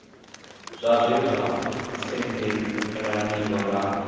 zwa zwe zwa tendelaniwa nga